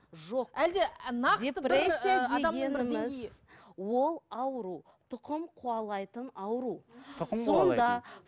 жоқ әлде нақты бір ол ауру тұқым қуалайтын ауру